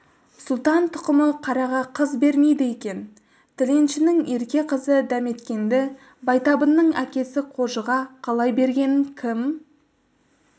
сұлтан тұқымы қараға қыз бермейді екен тіленшінің ерке қызы дәметкенді байтабынның әкесі қожыға қалай бергенін кім